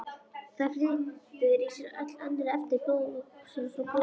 Það flytur í sér öll önnur efni blóðvökvans og blóðkornin.